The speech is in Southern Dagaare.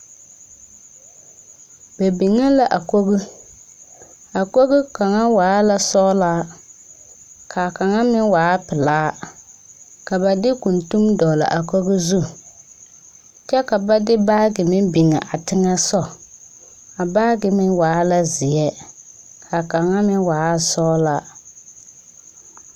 Ba biŋe la a kogi a kogi kaŋ waa la sɔglaa ka kaŋa meŋ waa pelaa ka ba de kuntuŋ dɔgle a kogi zu kyɛ ka ba de baage meŋ biŋ a teŋɛ sogɔ a baage meŋ waa la zeɛ ka kaŋa meŋ waa sɔglaa.